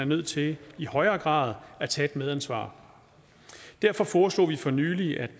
nødt til i højere grad at tage et medansvar derfor foreslog vi for nylig at